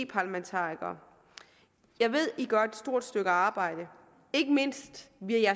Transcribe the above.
parlamentarikere jeg ved at de gør et stort stykke arbejde ikke mindst via